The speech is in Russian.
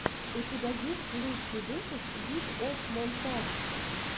у тебя есть лучший выпуск лиг оф монтадж